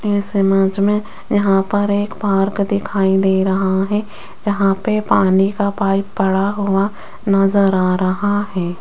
इस इमेज में यहां पर एक पार्क दिखाई दे रहा है जहां पे पानी का पाइप पड़ा हुआ नजर आ रहा है।